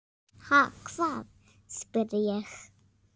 Ha, hvað? spyr ég.